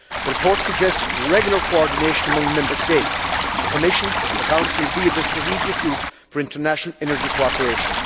The report suggests regular coordination among Member States, the Commission and the Council via the Strategic Group for International Energy Cooperation.